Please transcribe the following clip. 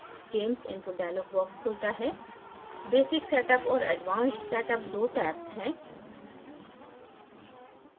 gamess input dialog box खुलता है basic setup और advanced setup दो tabs हैं